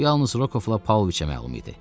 Bu yalnız Rokovla Pauloviçə məlum idi.